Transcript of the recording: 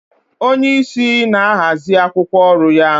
Onye isi na-ahazi akwụkwọ oru ya.